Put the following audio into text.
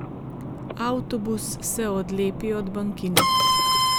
Avtobus se odlepi od bankine.